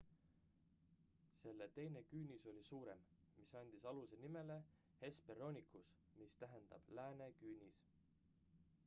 selle teine küünis oli suurem mis andis aluse nimele hesperonychus mis tähendab lääne küünis